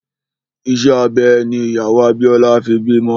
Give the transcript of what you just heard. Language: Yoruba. Ìṣe abẹ ní ìyàwó Abíọ́lá fi bímọ